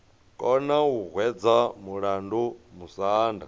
kona u hwedza mulandu musanda